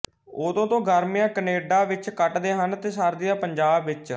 ਉਦੋਂ ਤੋਂ ਗਰਮੀਆਂ ਕੈਨੇਡਾ ਵਿੱਚ ਕੱਟਦੇ ਹਨ ਤੇ ਸਰਦੀਆਂ ਪੰਜਾਬ ਵਿੱਚ